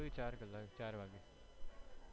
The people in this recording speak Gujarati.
ચાર વાગે